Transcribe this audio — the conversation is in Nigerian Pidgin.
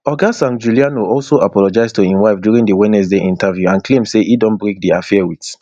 oga sangiuliano also apologise to im wife during di wednesday interview and claim say e don break im affair wit